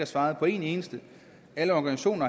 svaret på et eneste alle organisationer